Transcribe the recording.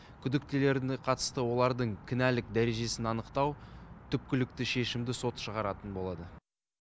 күдіктілеріне қатысты олардың кінәлік дәрежесін анықтау түпкілікті шешімді сот шығаратын болады